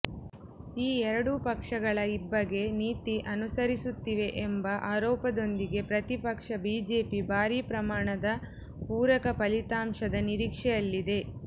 ಈ ಎರಡೂ ಪಕ್ಷಗಳ ಇಬ್ಬಗೆ ನೀತಿ ಅನುಸರಿಸುತ್ತಿವೆ ಎಂಬ ಆರೋಪದೊಂದಿಗೆ ಪ್ರತಿಪಕ್ಷ ಬಿಜೆಪಿ ಭಾರಿ ಪ್ರಮಾಣದ ಪೂರಕ ಫಲಿತಾಂಶದ ನಿರೀಕ್ಷೆಯಲ್ಲಿದೆ